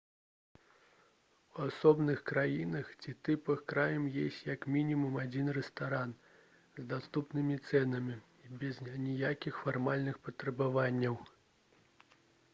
у асобных краінах ці тыпах крам ёсць як мінімум адзін рэстаран з даступнымі цэнамі і без аніякіх фармальных патрабаванняў